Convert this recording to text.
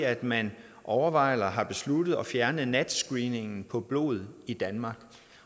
at man overvejer eller har besluttet at fjerne nat screeningen på blod i danmark